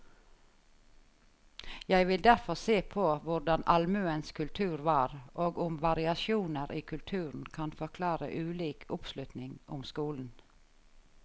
Jeg vil derfor se på hvordan allmuens kultur var, og om variasjoner i kulturen kan forklare ulik oppslutning om skolen.